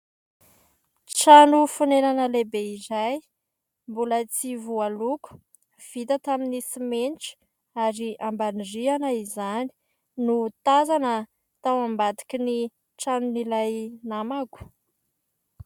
Trano fonenana lehibe iray, mbola tsy voaloko, vita tamin'ny simenitra ary ambany rihana izany, no tazana tao ambadikin'ny tranon'ilay namako.